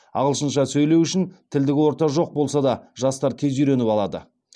ағылшынша сөйлеу үшін тілдік орта жоқ болса да жастар тез үйреніп алады